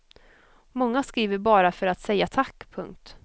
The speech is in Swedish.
Många skriver bara för att säga tack. punkt